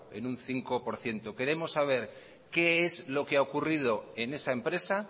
en un cinco por ciento queremos saber qué es lo que ha ocurrido en esa empresa